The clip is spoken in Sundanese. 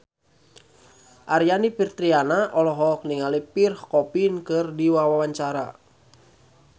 Aryani Fitriana olohok ningali Pierre Coffin keur diwawancara